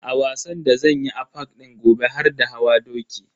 A wasan da zanyi a park din gobe har da hawa doki.